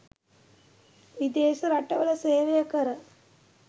විදේශ රටවල සේවය කර